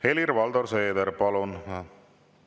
Helir-Valdor Seeder, palun!